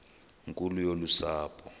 nkulu yolu sapho